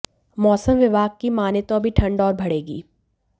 मौसम विभाग की माने तो अभी ठंड और बढ़ेगी